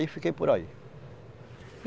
fiquei por aí.